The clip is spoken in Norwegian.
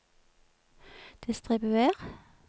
distribuer